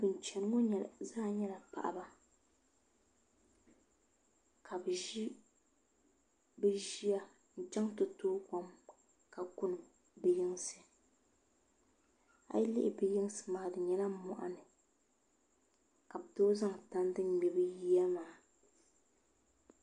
Bin chɛni ŋo zaa nyɛla paɣaba ka bi ʒi bi ʒiya n chɛŋ ti tooi kom kuna a yi lihi bi yinsi maa di nyɛla moɣani ka bi tom zaŋ tandi n mɛ bi yiya maa